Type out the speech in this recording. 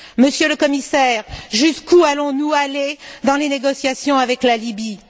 Monsieur le Commissaire, jusqu'où allons nous aller dans les négociations avec la Libye?